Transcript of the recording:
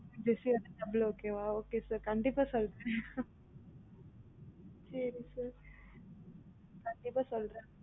ஜெசிந்தா வந்தா double okay யா okay sir கண்டிப்பா சொல்றன் சேரி sir கண்டிப்பா சொல்றன்